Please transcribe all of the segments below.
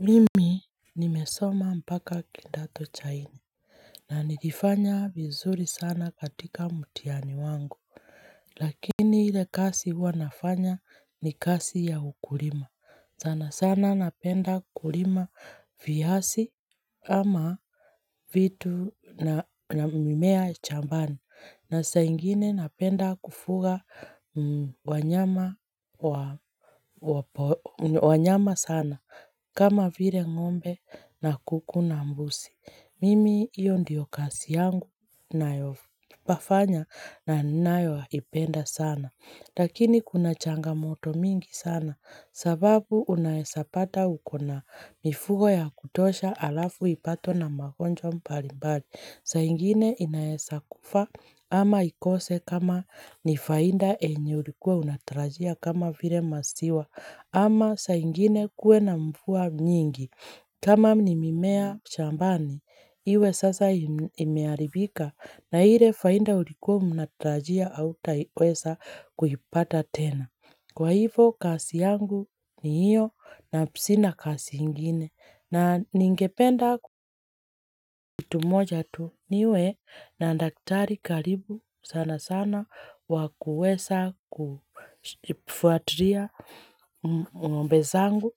Mimi nimesoma mpaka kidato cha nne na nilifanya vizuri sana katika mtihani wangu Lakini ile kazi huwa nafanya ni kazi ya ukulima sana sana napenda kulima viazi ama vitu na mimea shambani na saa ingine napenda kufuga wanyama sana kama vile ngombe na kuku na mbuzi, mimi hio ndio kazi yangu nayofanya na ninanayoipenda sana. Lakini kuna changamoto mingi sana sababu unaeza pata ukona mifugo ya kutosha alafu ipatwe na magonjwa mbalimbali saa ingine inaeza kufa ama ikose kama ni faida yenye ulikuwa unatarajia kama vile maziwa ama saa ingine kuwe na mvua nyingi kama ni mimea shambani iwe sasa imeharibika na ile faida ulikuwa unatarajia huata weza kuipata tena. Kwa hivo kazib yangu ni hio na sina kazi ingine na ningependa ktu moja tu niwe na daktari karibu sana sana wakuweza kufuatilia ngombe zangu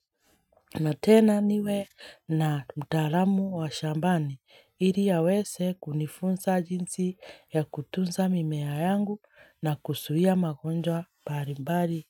na tena niwe na mtaalamu wa shambani ili aweze kunifunza jinsi ya kutunza mimea yangu na kuzuia magonjwa mbali mbali.